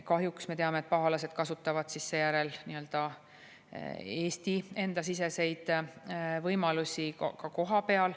Kahjuks me teame, et pahalased kasutavad seejärel Eesti-siseseid võimalusi.